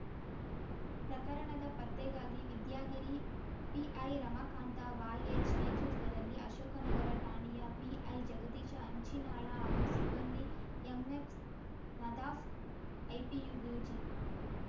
ಪ್ರಕರಣದ ಪತ್ತೆಗಾಗಿ Vidyagiri PI Ramakanta YH ನೇತೃತ್ವದಲ್ಲಿ ಅಶೋಕನಗರ ಠಾಣೆಯ ಪಿಐ ಜಗದೀಶ ಹಂಚಿನಾಳ ಹಾಗೂ ಸಿಬ್ಬಂದಿ ಎಮ್ಎಪ್ ನಧಾಫ್ಐಪಿಯು ಬ್ಯುಜಿ